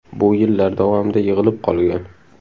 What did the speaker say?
Bu yillar davomida yig‘ilib qolgan.